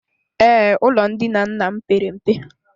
Ee, ụlọ ndina nna m pere mpe.